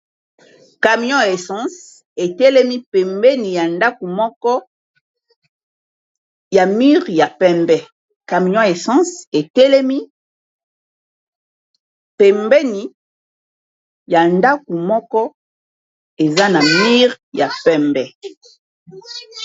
Camion ya essence e telemi pembeni ya ndaku moko, eza na mur ya pembe .